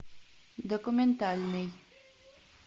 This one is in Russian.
документальный